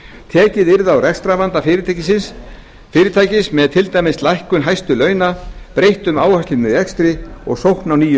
tekið yrði á rekstrarvanda fyrirtækis með til dæmis lækkun hæstu launa breyttum áherslum í rekstri og sókn á nýjum